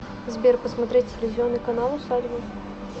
сбер посмотреть телевизионный канал усадьба